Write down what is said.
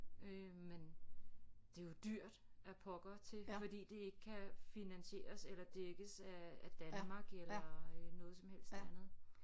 Øh men det er jo dyrt af pokker til fordi det ikke kan finansieres eller dækkes af af Danmark eller øh noget som helst andet